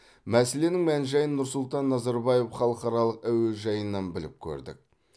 мәселенің мән жайын нұрсұлтан назарбаев халықаралық әуежайынан біліп көрдік